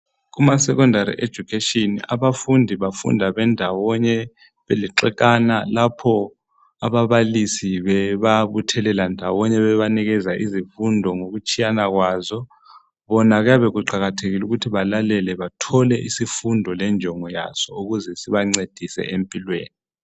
Kuma secondary education ,abafundi bafunda bendawonye .Belixekana lapho ababalisi bebabuthelela ndawonye ,bebanikeza izifundo ngokutshiyana kwazo. Bona kuyabe kuqakathekile ukuthi balalele bathole isifundo lenjongo yaso ukuze sibancedise empilweni.